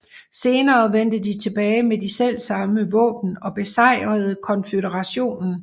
Senere vendte de tilbage med de selvsamme våben og besejrede konføderationen